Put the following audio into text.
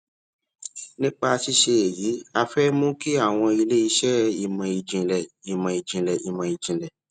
nípa ṣíṣe èyí a fé mú kí àwọn ilé iṣẹ ìmọ ìjìnlẹ ìmọ ìjìnlẹ ìmọ ìjìnlẹ